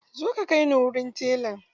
Zo ka kai ni wurin telan!